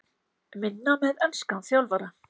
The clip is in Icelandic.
Minna með enskan þjálfara?